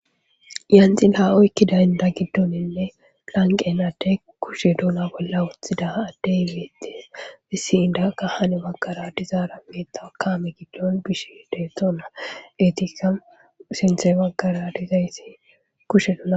Yanxila oykida unda giddoninne lanqen adey kushe duuna bolla wothida adey betes, issi indak hni bagara dizara bettawusi , izetika kaame gidon , Etika sinthen bagara dizayti kushe nam'u